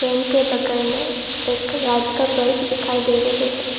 इनके बगल में एक लाइट का बल्व दिखाई दे रहे है ।